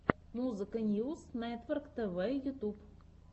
музыка ньюс нетворктв ютьюб